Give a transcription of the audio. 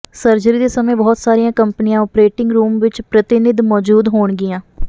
surgery ਦੇ ਸਮੇਂ ਬਹੁਤ ਸਾਰੀਆਂ ਕੰਪਨੀਆਂ ਓਪਰੇਟਿੰਗ ਰੂਮ ਵਿਚ ਪ੍ਰਤੀਨਿਧ ਮੌਜੂਦ ਹੋਣਗੀਆਂ